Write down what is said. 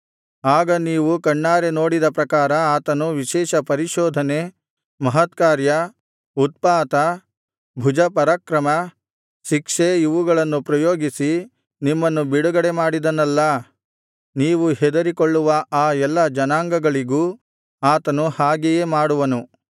ಆಗ ನೀವು ಕಣ್ಣಾರೆ ನೋಡಿದ ಪ್ರಕಾರ ಆತನು ವಿಶೇಷ ಪರಿಶೋಧನೆ ಮಹತ್ಕಾರ್ಯ ಉತ್ಪಾತ ಭುಜಪರಾಕ್ರಮ ಶಿಕ್ಷೆ ಇವುಗಳನ್ನು ಪ್ರಯೋಗಿಸಿ ನಿಮ್ಮನ್ನು ಬಿಡುಗಡೆಮಾಡಿದನಲ್ಲಾ ನೀವು ಹೆದರಿಕೊಳ್ಳುವ ಆ ಎಲ್ಲಾ ಜನಾಂಗಗಳಿಗೂ ಆತನು ಹಾಗೆಯೇ ಮಾಡುವನು